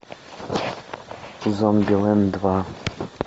зомбилэнд два